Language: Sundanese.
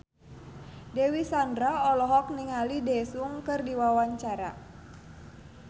Dewi Sandra olohok ningali Daesung keur diwawancara